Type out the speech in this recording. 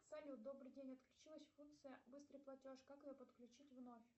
салют добрый день отключилась функция быстрый платеж как ее подключить вновь